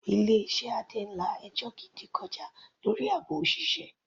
Ilé iṣẹ́ Adé ń la ẹjọ́ gidi kọjá lórí àbò òṣìṣẹ́.